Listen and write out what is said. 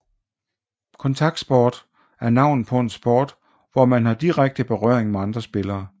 Kontaktsport er navnet på en sport hvor man har direkte berøring med andre spillere